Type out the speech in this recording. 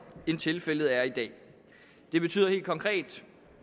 end tilfældet er i dag det betyder helt konkret